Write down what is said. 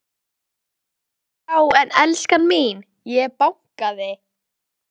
Var einhver von til þess að hún skilaði henni?